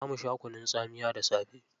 Za mu sha kunun tsamiya da safe.